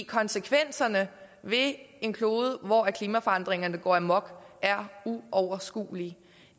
konsekvenserne ved en klode hvor klimaforandringerne går amok er uoverskuelige